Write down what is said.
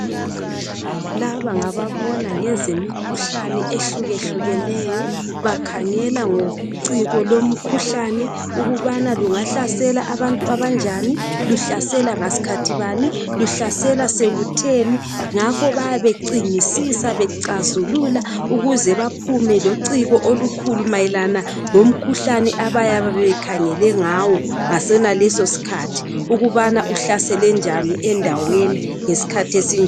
Laba ngababona ngezemikhuhlane ehlukehlukeneyo bakhangela ngociko lomkhuhlane ukubana lungahlasela abantu abanjani luhlasela ngaskhathibani luhlasela sekutheni ngakho bayabe becingisisa becazulula ukuzebaphume lociko olukhulu mayelana ngomkhuhlane abayabebekhangele ngawo ngasenaleso sikhathi ukubana uhlaselenjani endaweni ngesikhathi esinjani